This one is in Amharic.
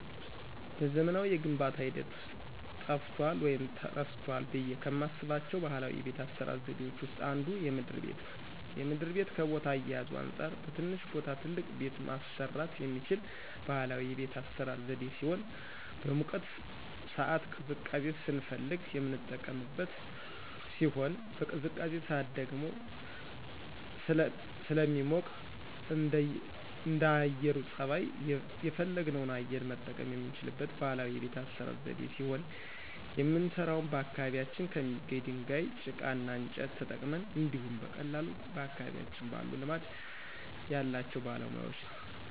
በዘመናዊ የግንባታ ሂደት ውስጥ ጠፍቷል ወይም ተረስቷል ብዬ ከማስባቸው ባህላዊ የቤት አሰራር ዘዴዎች ውስጥ አንዱ የምድር ቤት ነው። የምድር ቤት ከቦታ አያያዙ አንፃር በትንሽ ቦታ ትልቅ ቤት ማሰራት የሚችል ባህላዊ የቤት አሰራር ዘዴ ሲሆን በሙቀት ሳዓት ቅዝቃዜ ስንፈልግ የምንቀመጥበት ሲሆን በቅዝቃዜ ሳዓት ደግሞ ደግሞ ስለሚሞቅ እንደአየሩ ፀባይ የፈለግነውን አየር መጠቀም የምንችልበት ባህላዊ የቤት አሰራር ዘዴ ሲሆን የምንሰራውም በአካባቢያችን ከሚገኝ ድንጋይ፣ ጭቃ እና እንጨት ተጠቅመን እንዲሁኝ በቀላሉ በአካባቢያችን ባሉ ልማድ ያላቸው ባለሙያወች ነው።